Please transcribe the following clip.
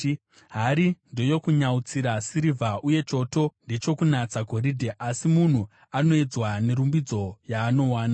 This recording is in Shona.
Hari ndeyokunyautsira sirivha uye choto ndechokunatsa goridhe, asi munhu anoedzwa nerumbidzo yaanowana.